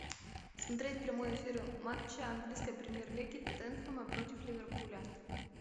смотреть прямой эфир матча английской премьер лиги тоттенхэма против ливерпуля